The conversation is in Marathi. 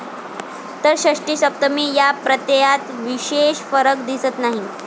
तर षष्टी, सप्तमी या प्रत्ययात विशेष फरक दिसत नाही.